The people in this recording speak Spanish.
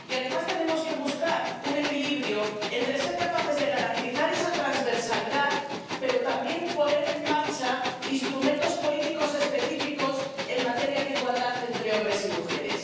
Y, además, tenemos que buscar un equilibrio entre ser capaces de garantizar esa transversalidad pero también poner en marcha instrumentos políticos específicos en materia de igualdad entre hombres y mujeres.